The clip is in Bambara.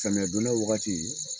Samiya don da waagati.